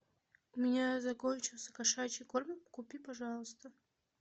у меня закончился кошачий корм купи пожалуйста